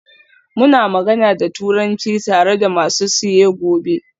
Muna magana da Turanci tare da masu siye gobe?